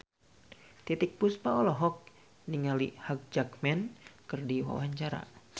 Titiek Puspa olohok ningali Hugh Jackman keur diwawancara